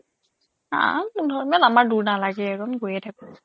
হা আমাৰ দূৰ নালাগে গৈয়েই থাকোঁ